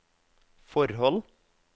forhold